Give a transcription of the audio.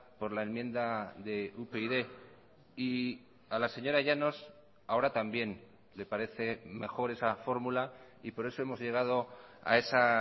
por la enmienda de upyd y a la señora llanos ahora también le parece mejor esa fórmula y por eso hemos llegado a esa